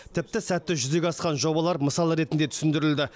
тіпті сәтті жүзеге асқан жобалар мысал ретінде түсіндірілді